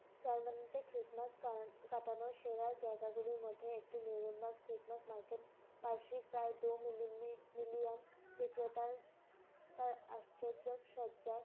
Germany তে Christmas পালন~ কাটানোর সেরা জায়গাগুলির মধ্যে একটি মেহেরিমা seet mask market । বার্ষিক প্রায় দো মিলি মিলি million বিক্রেতার তার আশ্চর্যক সজ্জায়